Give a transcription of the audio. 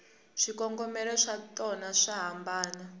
swikongomelo swatona swa hambana